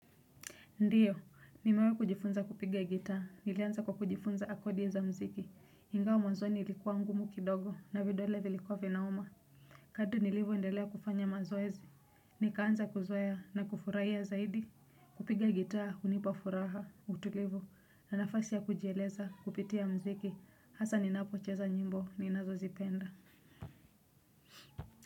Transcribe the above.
Ndiyo, nimewahi kujifunza kupiga gitaa. Nilianza kwa kujifunza kodi za muziki, ingawa mwanzo ilikuwa ngumu kidogo na vidole vilikuwa vinauma. Kadri nilivyoendelea kufanya mazoezi, nikaanza kuzoea na kufurahia zaidi. Kupiga gitaa hunipa furaha, utulivu na nafasi ya kujieleza kupitia muziki, hasa ninapocheza nyimbo ninazozipenda.